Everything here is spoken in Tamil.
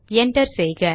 என்டர் செய்க